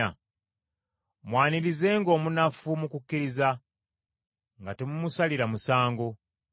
Mwanirizenga omunafu mu kukkiriza, nga temumusalira musango.